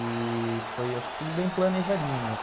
E... foi assim tudo bem planejadinho.